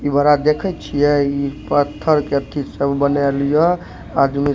इ बड़ा देखे छीये इ पत्थर के की सब बनाएल ये आदमी --